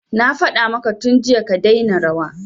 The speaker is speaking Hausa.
Na faɗa maka tun jiya ka daina rawa